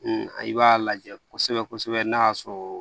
i b'a lajɛ kosɛbɛ kosɛbɛ n'a y'a sɔrɔ